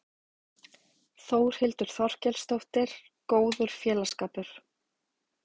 Þórhildur Þorkelsdóttir: Góður félagsskapur?